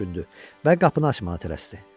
Hans düşündü və qapını açmağa tələsdi.